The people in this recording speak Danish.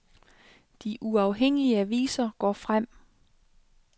De uafhængige aviser går frem.